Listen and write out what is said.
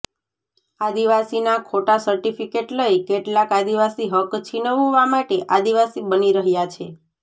આદિવાસીના ખોટા ર્સિટફ્કિેટ લઇ કેટલાક આદિવાસી હક છીનવવા માટે આદિવાસી બની રહ્યા છે